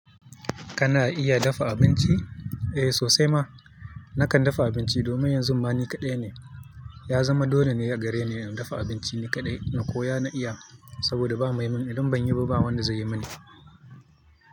Kana iya dafa abinci? Eh sosai ma. Nakan dafa abinci domin yanzu ma ni kaɗai ne. Ya zama dole ne a gare ni in dafa abinci ni kaɗai na koya na iya saboda ba mai mun idan ban yi ba wanda zai yi mani.